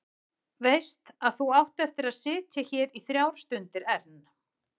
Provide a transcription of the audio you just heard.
Veist að þú átt eftir að sitja hérna í þrjár stundir enn.